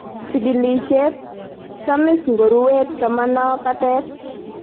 Chigilishet:Samis ngorue tomono patet